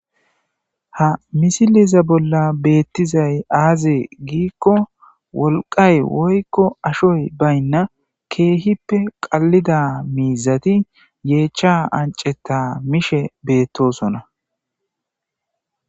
ha misileza bolla beettizay aaze giikko wolqay woykko ashoy baynna keehippe qallida miizati yeecha anceta mishe beettosona